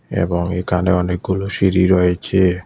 এবং এখানে অনেকগুলো সিঁড়ি রয়েছে।